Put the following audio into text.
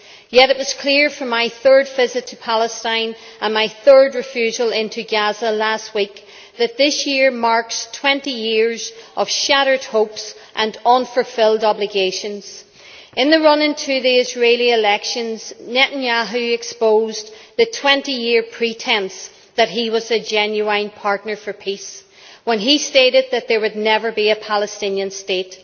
Yet it was clear from my third visit to Palestine, and my third refusal into Gaza last week, that this year marks 20 years of shattered hopes and unfulfilled obligations. In the run up to the Israeli elections Netanyahu exposed the 20 year pretence that he was a genuine partner for peace when he stated that there would never be a Palestinian state.